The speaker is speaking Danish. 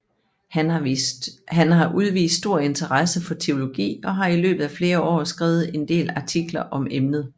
Han har udvist stor interesse for teologi og har i løbet af flere år skrevet en del artikler om emnet